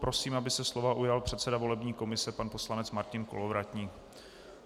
Prosím, aby se slova ujal předseda volební komise pan poslanec Martin Kolovratník.